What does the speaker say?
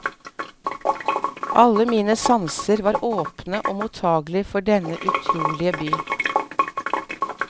Alle mine sanser var åpne og mottagelig for denne utrolige by.